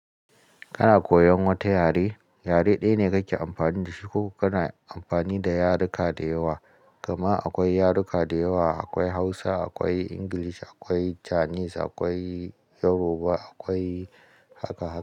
Kana koyon wata yare, yare ɗaya ne kake amfani da shi ko kana amfani da yaruka da yawa. Gama akwai yaruka da yawa akwai Hausa, akwai English, akwai Chinese, akwai Yoruba, akwai haka.